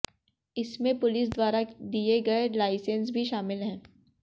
इसमें पुलिस द्वारा दिए गए लाइसेंस भी शमिल हैं